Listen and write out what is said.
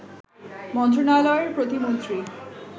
মন্ত্রণালয়ের প্রতিমন্ত্রী